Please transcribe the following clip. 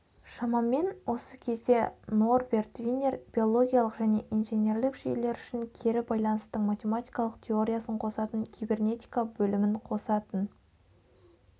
шамамен осы кезде норберт винер биологиялық және инженерлік жүйелер үшін кері байланыстың математикалық теориясын қосатын кибернетика бөлімін қосатын